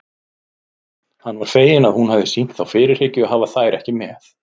Hann var feginn að hún hafði sýnt þá fyrirhyggju að hafa þær með.